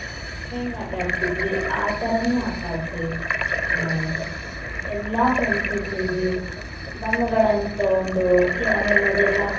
ಹೆಂಗ ಆಟಡತಿದ್ವಿ ಆತರಾನು ಆಟಡತೇವಿ ನಾವು, ಎಲ್ಲಾ friends ಉ ಸೇರಿ ಬಣ್ಣಗಳನ್ನಾ ತೊಗೊಂಡು ಆಮೇಲೆ ಅದೆಲ್ಲ.